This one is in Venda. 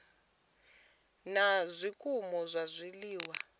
na zwikimu zwa zwiliwa na